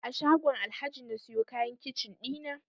A shagon Alhaji na siyo kayan kicin ɗina